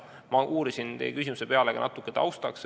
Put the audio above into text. Ma uurisin teie küsimuse peale natuke tausta.